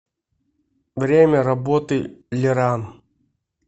время работы леран